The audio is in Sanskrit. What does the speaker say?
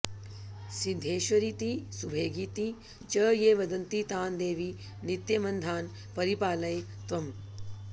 सिद्धेश्वरीति सुभगेति च ये वदन्ति तान् देवि नित्यमनधान् परिपालय त्वम्